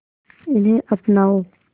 इन्हें अपनाओ